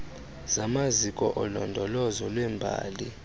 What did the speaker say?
zamaziko olondolozo lwembali